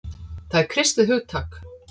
Það er kristið hugtak.